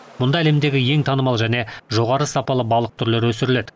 мұнда әлемдегі ең танымал және жоғары сапалы балық түрлері өсіріледі